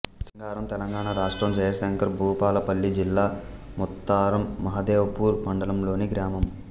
సింగారం తెలంగాణ రాష్ట్రం జయశంకర్ భూపాలపల్లి జిల్లా ముత్తారం మహదేవ్ పూర్ మండలంలోని గ్రామం